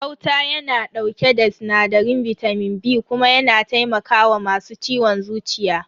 Gauta yana dauke da sinadarin bitamin B kuma yana taimaka wa masu ciwon zuciya.